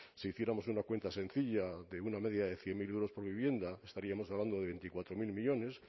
si hiciéramos una cuenta sencilla de una media de cien mil euros por vivienda estaríamos hablando de veinticuatro mil millónes